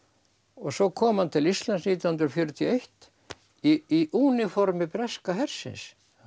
svo kom hann til Íslands nítján hundruð fjörutíu og eitt í úniformi breska hersins